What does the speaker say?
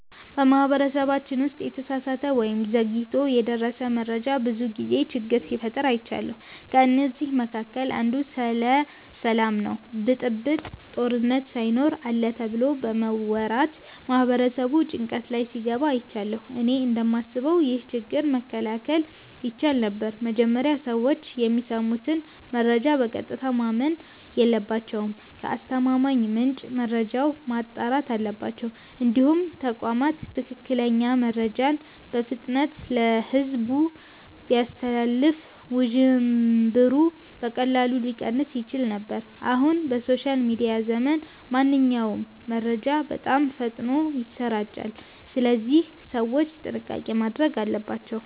በማህበረሰባችን ውስጥ የተሳሳተ ወይም ዘግይቶ የደረሰ መረጃ ብዙ ጊዜ ችግር ሲፈጥር አይቻለሁ። ከእነዚህ መካከል አንዱ ስለ ሰላም ነው ብጥብጥ፣ ጦርነት ሳይኖር አለ ተብሎ በመወራት ማህበረሰቡ ጭንቀት ላይ ሲገባ አይቻለሁ። እኔ እንደማስበው ይህ ችግር መከላከል ይቻል ነበር። መጀመሪያ ሰዎች የሚሰሙትን መረጃ በቀጥታ ማመን የለባቸውም። ከአስተማማኝ ምንጭ መረጃውን ማጣራት አለባቸው። እንዲሁም ተቋማት ትክክለኛ መረጃን በፍጥነት ለሕዝብ ቢያስተላልፉ ውዥንብሩ በቀላሉ ሊቀንስ ይችል ነበር። አሁን በሶሻል ሚዲያ ዘመን ማንኛውም መረጃ በጣም ፈጥኖ ይሰራጫል፣ ስለዚህ ሰዎች ጥንቃቄ ማድረግ አለባቸው።